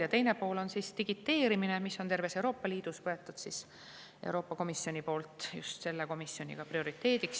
Ja teine pool on digiteerimine, mille Euroopa Komisjon on terves Euroopa Liidus seadnud prioriteediks.